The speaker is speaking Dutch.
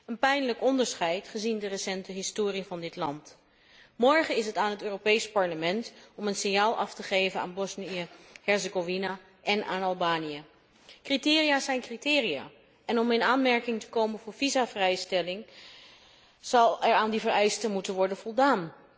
Een pijnlijk onderscheid, gezien de recente historie van dit land. Morgen is het aan het Europees Parlement om een signaal af te geven aan Bosnië Herzegovina en aan Albanië. Criteria zijn criteria, en om in aanmerking te komen voor visumvrijstelling zal er aan die vereisten moeten worden voldaan.